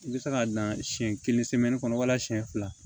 I bɛ se k'a dan siyɛn kelen kɔnɔ walasa siyɛn fila